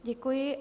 Děkuji.